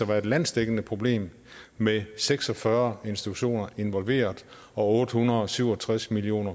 være et landsdækkende problem med seks og fyrre institutioner involveret og otte hundrede og syv og tres million